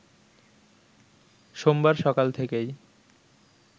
সোমবার সকাল থেকেই